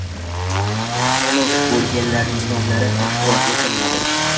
Halok bo‘lganlarning nomlari oshkor etilmadi.